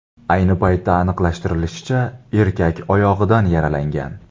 Ayni paytda aniqlashtirilishicha, erkak oyog‘idan yaralangan.